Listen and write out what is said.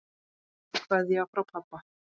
Kveðja frá pabba.